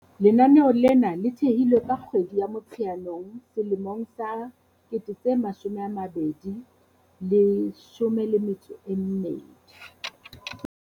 Lenaneo lena le thehilwe ka kgwedi ya Motsheanong selemong sa 2012.